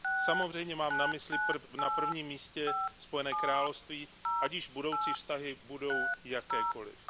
Samozřejmě mám na mysli na prvním místě Spojené království, ať již budoucí vztahy budou jakékoliv.